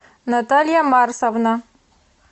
наталья марсовна